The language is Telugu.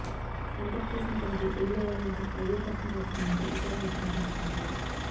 శాంతప్ప చేసిన పనికి ఊళ్లో వాళ్లంతా అయ్యో పాపం లక్ష్మి అంటూ విచారం వ్యక్తం చేస్తున్నారు